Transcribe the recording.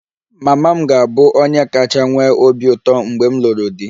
Mama m ga-abụ onye kacha nwee obi ụtọ mgbe m lụrụ di